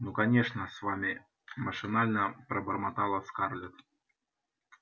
ну конечно с вами машинально пробормотала скарлетт